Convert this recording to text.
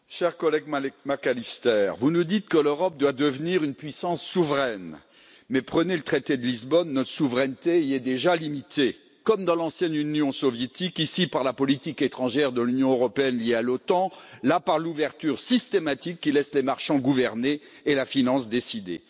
Monsieur le Président, cher collègue David Mc Allister, vous nous dites que l'Europe doit devenir une puissance souveraine. Mais prenez le traité de Lisbonne notre souveraineté y est déjà limitée, comme dans l'ancienne Union soviétique, ici par la politique étrangère de l'Union européenne liée à l'OTAN, là par l'ouverture systématique, qui laisse les marchands gouverner et la finance décider.